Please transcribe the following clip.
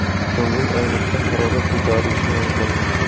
Ko‘ngil aynishda harorat ko‘tarilishi mumkin.